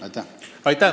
Aitäh!